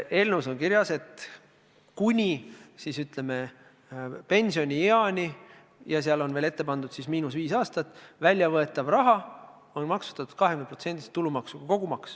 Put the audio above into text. Eelnõus on kirjas, et kuni, ütleme, pensionieani – ja sellele on veel ette pandud miinus viis aastat – väljavõetav raha on maksustatud 20%-lise tulumaksuga.